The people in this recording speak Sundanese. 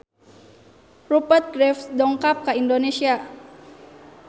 Rupert Graves dongkap ka Indonesia